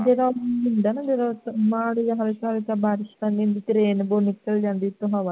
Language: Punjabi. ਜਿਹੜਾ ਹੁੰਦਾ ਹੈ ਨਾ ਜਿਹੜਾ ਬਾਦ ਵਿਚ ਹਲਕਾ-ਹਲਕਾ ਬਾਰਿਸ਼ ਬਣੀ ਹੁੰਦੀ ਤੇ rainbow ਨਿਕਲ ਜਾਂਦਾ ਜਿਸ ਸਮੇਂ